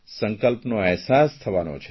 સંકલ્પનો અહેસાસ થવાનો છે